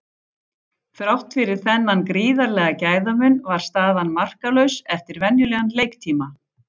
Þrátt fyrir þennan gríðarlega gæðamun var staðan markalaus eftir venjulegan leiktíma.